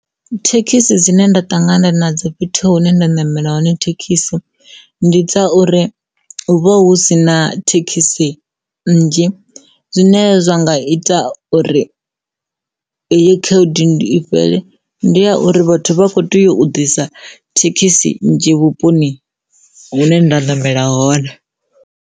Thekhisi dzine nda ṱangana nadzo fhethu hune nda namela hone thekhisi ndi dza uri hu vha hu si na thekhisi nnzhi zwine zwa nga ita tou uri heyi khaedu i fhele ndi ya uri vhathu vha kho tea u ḓisa thekhisi nnzhi vhuponi hune nda namela hone.